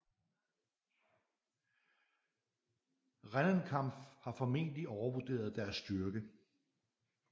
Rennenkampf har formentlig overvurderet deres styrke